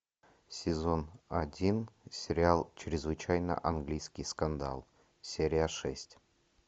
сезон один сериал чрезвычайно английский скандал серия шесть